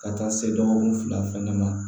Ka taa se dɔgɔkun fila fɛnɛ ma